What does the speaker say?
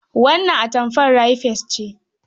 Wannan atamfar rai fes ce.